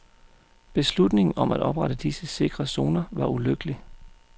Beslutningen om at oprette disse sikre zoner var ulykkelig.